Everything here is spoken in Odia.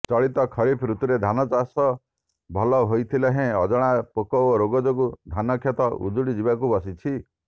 ଚଳିତ ଖରିଫ ଋତୁରେ ଧାନଚାଷ ଭଲ ହୋଇଥିଲେହେଁ ଅଜଣା ପୋକ ଓ ରୋଗ ଯୋଗୁ ଧାନକ୍ଷେତ ଉଜୁଡ଼ି ଯିବାକୁ ବସିଛି